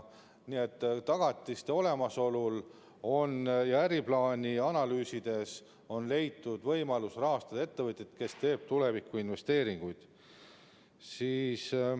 Nii et tagatiste olemasolul ja äriplaani analüüsides on leitud võimalus rahastada ettevõtjaid, kes teevad tulevikuinvesteeringuid.